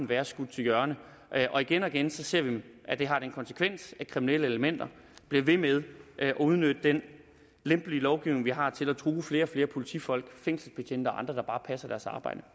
være skudt til hjørne og igen og igen ser vi at det har den konsekvens at kriminelle elementer bliver ved med at udnytte den lempelige lovgivning vi har til at true flere og flere politifolk fængselsbetjente og andre der bare passer deres arbejde